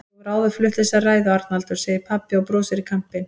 Þú hefur áður flutt þessa ræðu, Arnaldur, segir pabbi og brosir í kampinn.